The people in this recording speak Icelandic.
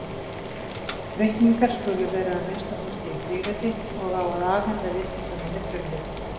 Reikningar skulu vera að minnsta kosti í þríriti og á að afhenda viðskiptamanni frumrit.